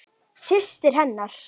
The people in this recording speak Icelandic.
Systir hennar?